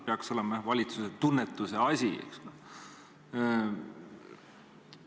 See peaks olema valitsuse tunnetuse küsimus, eks ole.